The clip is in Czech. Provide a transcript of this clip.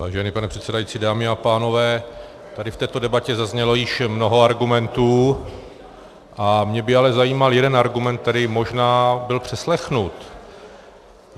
Vážený pane předsedající, dámy a pánové, tady v této debatě zaznělo již mnoho argumentů a mě by ale zajímal jeden argument, který možná byl přeslechnut.